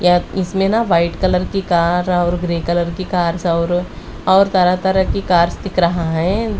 या इसमें ना वाइट कलर की कार और ग्रे कलर की कार्स और और तरह-तरह की कार्स दिख रहा है।